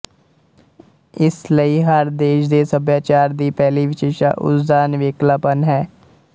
ਇਸ ਲਈ ਹਰ ਦੇਸ਼ ਦੇ ਸਭਿਆਚਾਰ ਦੀ ਪਹਿਲੀ ਵਿਸ਼ੇਸ਼ਤਾ ਉਸ ਦਾ ਨਿਵੇਕਲਾਪਣ ਹੈ